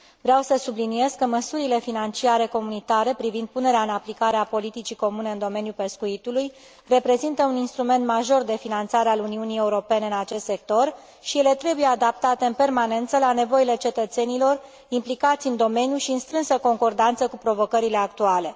Vreau să subliniez că măsurile financiare comunitare privind punerea în aplicare a politicii comune în domeniul pescuitului reprezintă un instrument major de finanțare al Uniunii Europene în acest sector și ele trebuie adaptate în permanență la nevoile cetățenilor implicați în domeniu și în strânsă concordanță cu provocările actuale.